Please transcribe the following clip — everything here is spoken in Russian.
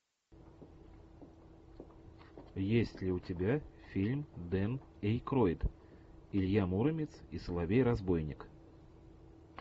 есть ли у тебя фильм дэн эйкройд илья муромец и соловей разбойник